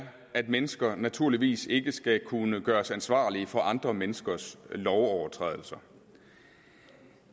at mennesker naturligvis ikke skal kunne gøres ansvarlige for andre menneskers lovovertrædelser